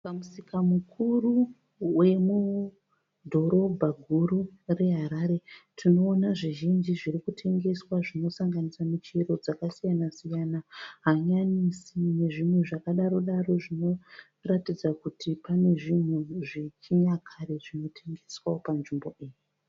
Pamusika mukuru wemudhorobha guru reHarare Tinoona zvizhinji zviri kutengeswa zvinosanganisa muchero dzakasiyana siyana hanyanisi nezvimwe zvakadaro daro zvinoratidza kuti pane zvinhu zvechinyakare zvinotengeswawo panzvimbo iyi.